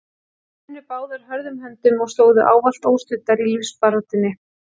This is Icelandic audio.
Þær unnu báðar hörðum höndum og stóðu ávallt óstuddar í lífsbaráttunni.